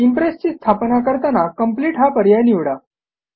impress ची स्थापना करताना कंप्लीट हा पर्याय निवडा